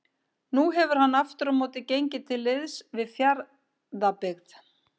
Nú hefur hann aftur á móti gengið til liðs við Fjarðabyggð.